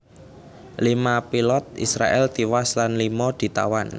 Lima pilot Israèl tiwas lan lima ditawan